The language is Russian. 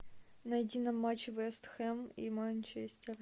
найди нам матч вест хэм и манчестер